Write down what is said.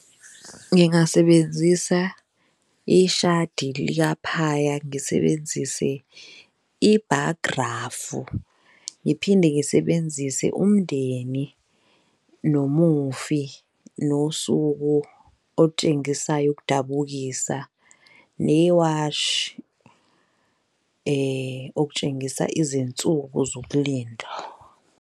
Ngingasebenzisa ishadi likaphaya, ngisebenzise i-bar graph, ngiphinde ngisebenzise umndeni nomufi, nosuku okutshengisayo ukudabukisa, newashi okutshengisa izinsuku zokulinda.